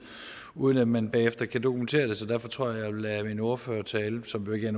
uden at man bagefter kan dokumentere det derfor tror jeg vil lade min ordførertale som jo ikke er